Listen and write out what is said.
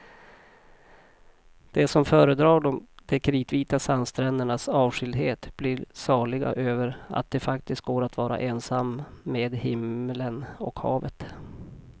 De som föredrar de kritvita sandsträndernas avskildhet blir saliga över att det faktiskt går att vara ensam med himlen och havet.